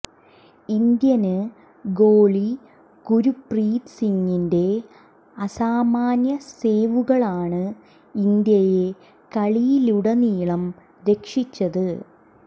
Indian ഗോളി ഗുര്പ്രീത് സിങിന്റെ അസാമാന്യ സേവുകളാണ് ഇന്ത്യയെ കളിയിലുടനീളം രക്ഷിച്ചത്